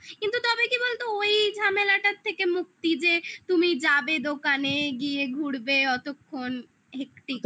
কিন্তু তবে কি বলতো ওই ঝামেলাটার থেকে মুক্তি যে তুমি যাবে দোকানে গিয়ে ঘুরবে অতক্ষণ